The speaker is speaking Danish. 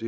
det